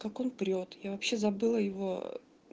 как он прёт я вообще забыла его